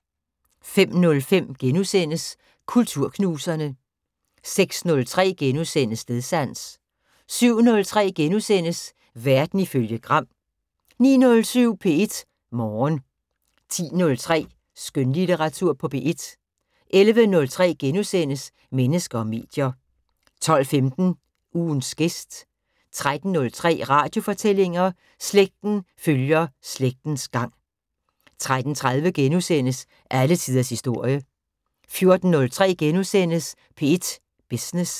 05:03: Kulturknuserne * 06:03: Stedsans * 07:03: Verden ifølge Gram * 09:07: P1 Morgen 10:03: Skønlitteratur på P1 11:03: Mennesker og medier * 12:15: Ugens gæst 13:03: Radiofortællinger: Slægten følger slægtens gang 13:30: Alle tiders historie * 14:03: P1 Business *